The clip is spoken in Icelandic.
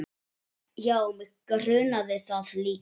Já, mig grunaði það líka.